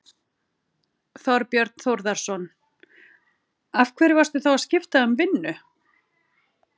Þorbjörn Þórðarson: Af hverju varstu þá að skipta um vinnu?